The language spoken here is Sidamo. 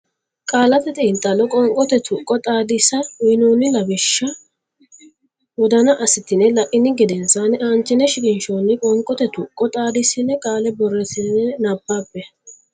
Qaallate Xiinxallo Qoonqote Tuqqo Xaadisa uynoonni lawishsha wodana assitine la ini gedensaanni aanchine shiqinshoonni qoonqote tuqqo xaadissine qaale borreessitine nabbabbe.